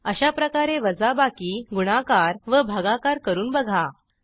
अशाप्रकारे वजाबाकी गुणाकार व भागाकार करून बघा